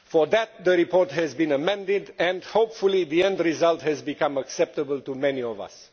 For that, the report has been amended and hopefully the end result has become acceptable to many of us.